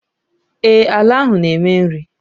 Ee, àlà áhù na eme nri